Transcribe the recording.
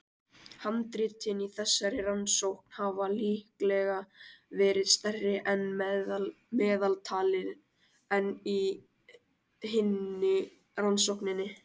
Handritin í þessari rannsókn hafa líklega verið stærri að meðaltali en í hinni rannsókninni.